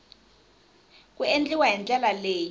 ku endliwa hi ndlela leyi